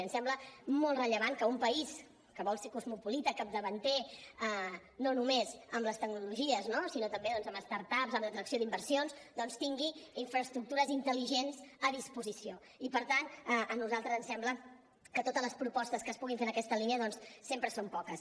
em sembla molt rellevant que un país que vol ser cosmopolita capdavanter no només amb les tecnologies no sinó també doncs amb start ups amb l’atracció d’inversions tingui infraestructures intel·ligents a disposició i per tant a nosaltres ens sembla que totes les propostes que es puguin fer en aquesta línia sempre són poques